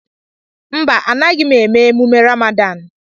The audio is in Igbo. Mba, anaghị m eme emume Rámádán